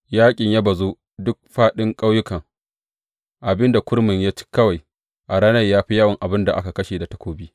Yaƙin ya bazu a duk fāɗin ƙauyukan, abin da kurmin ya ci kawai a ranar ya fi yawan abin da aka kashe da takobi.